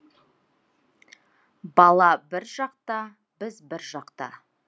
бала бір жақта біз бір жақта